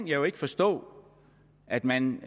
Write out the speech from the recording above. jo ikke forstå at man